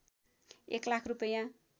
१ लाख रूपैया